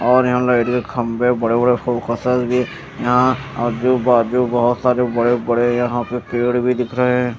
और यहा पे लाइट के खम्भे बड़े बड़े भी यहा आजू बाजु बोहोत सारे बड़े बड़े यहा पेड़ भी दिख रहे हें।